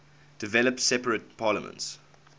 developed separate parliaments